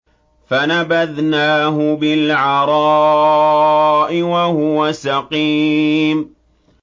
۞ فَنَبَذْنَاهُ بِالْعَرَاءِ وَهُوَ سَقِيمٌ